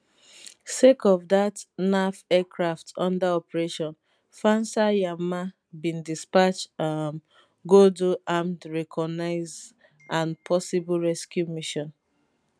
sake of dat naf aircraft under operation fansar yamma bin dispatch um go do armed reconnaissance and possible rescue mission